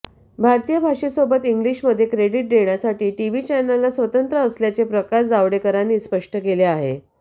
भारतीय भाषेसोबत इंग्लिशमध्ये क्रेडिट देण्यासाठी टीव्ही चॅनलला स्वतंत्र असल्याचे प्रकाश जावडेकरांनी स्पष्ट केले आहे